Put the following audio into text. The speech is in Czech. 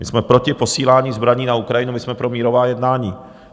My jsme proti posílání zbraní na Ukrajinu, my jsme pro mírová jednání.